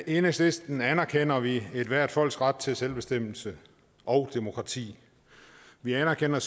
enhedslisten anerkender vi ethvert folks ret til selvbestemmelse og demokrati vi anerkender